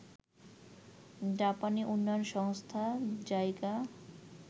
জাপানী উন্নয়ন সংস্থা জাইকা